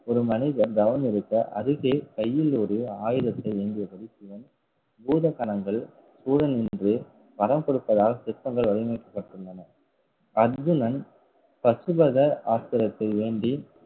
ஒரு மனிதன் தவம் இருக்க அருகே கையில் ஒரு ஆயுதத்தை ஏந்தியபடி பூதம் பூத கணங்கள் கூட நின்று வரம் கொடுப்பதாக சிற்பங்கள் வடிவமைக்கப்பட்டுள்ளன அர்ஜுனன் பசுபத ஆஸ்திரத்தை வேண்டி